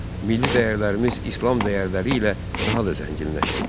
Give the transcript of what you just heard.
Milli dəyərlərimiz İslam dəyərləri ilə daha da zənginləşdi.